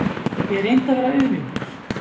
Ég reyndi að vera auðmjúkur.